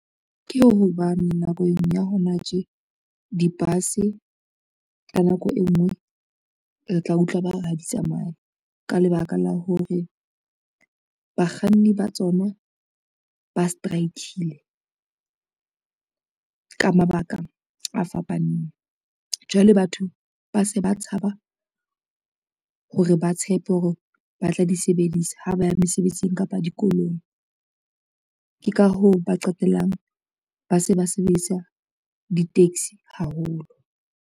Ke hobane nakong ya hona tje di-bus, ka nako e ngwe re tla utlwa ba re ha di tsamaye ka lebaka la hore, bakganni ba tsona ba strike-ile ka mabaka a fapaneng. Jwale batho ba se ba tshaba ho re ba tshepe hore ba tla di sebedisa ha ba ya mesebetsing kapa dikolong, ke ka hoo ba qetellang ba se ba sebedisa di-taxi haholo.